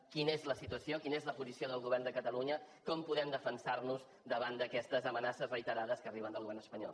quina és la situació quina és la posició del govern de catalunya com podem defensar nos davant d’aquestes amenaces reiterades que arriben del govern espanyol